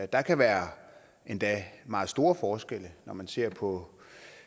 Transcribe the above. der kan være endda meget store forskelle når man ser på